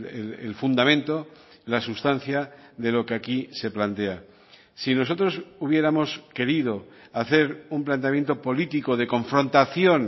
el fundamento la sustancia de lo que aquí se plantea si nosotros hubiéramos querido hacer un planteamiento político de confrontación